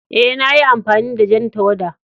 Eh, na yi amfani da jan tawada.